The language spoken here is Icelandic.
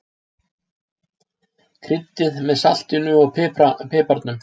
Kryddið með saltinu og piparnum.